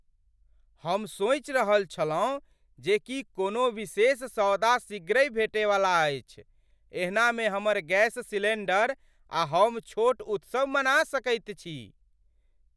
हम सोचि रहल छलहुँ जे की कोनो विशेष सौदा शीघ्रहि भेटैवला अछि। एहनामे हमर गैस सिलेंडर आ हम छोट उत्सव मना सकैत छी!